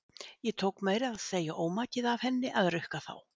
Ég tók meira að segja ómakið af henni að rukka þá.